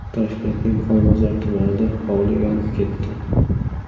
Toshkentning Olmazor tumanida hovli yonib ketdi.